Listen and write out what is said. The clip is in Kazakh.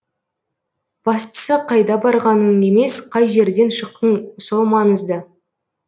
бастысы қайда барғаның емес қай жерден шықтың сол маңызды